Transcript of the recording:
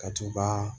Ka t'u ka